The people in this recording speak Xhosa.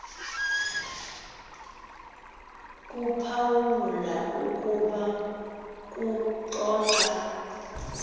kuphawula ukuba kuxoxa